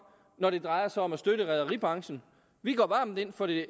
når det drejer sig om at støtte rederibranchen vi går varmt ind for det